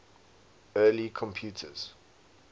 early computers